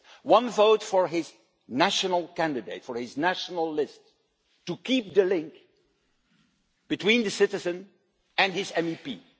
One vote is for a national candidate, for a national list, to keep the link between the citizen and his or her MEP